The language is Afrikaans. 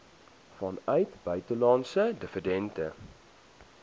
vanuit buitelandse dividende